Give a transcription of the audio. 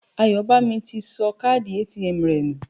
Àbáyòmí ti sọ káàdì ATM rẹ̀ nù